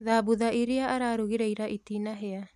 Thambutha irĩa ararugire ira itinahĩa